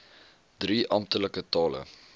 drie amptelike tale